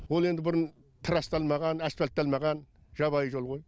ол енді бұрын трасталмаған асфальтталмаған жабайы жол ғой